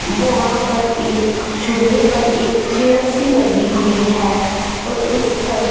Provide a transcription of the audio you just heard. वहां पर एक झूले पर एक चेयर सी लगी हुई है और उस पर --